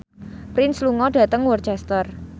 Prince lunga dhateng Worcester